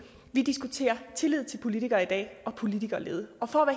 vi diskuterer tillid til politikere i dag og politikerlede for at